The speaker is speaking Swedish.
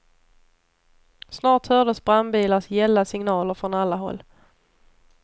Snart hördes brandbilars gälla signaler från alla håll.